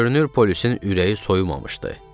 Görünür, polisin ürəyi soyumamışdı.